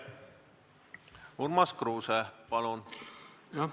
Urmas Kruuse, palun!